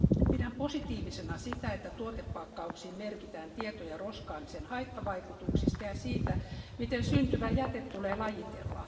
Pidän positiivisena sitä, että tuotepakkauksiin merkitään tietoja roskaamisen haittavaikutuksista ja siitä, miten syntyvä jäte tulee lajitella.